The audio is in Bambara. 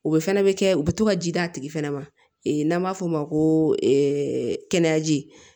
O bɛ fana bɛ kɛ u bɛ to ka ji d' a tigi fɛnɛ ma n'an b'a fɔ o ma ko kɛnɛyaji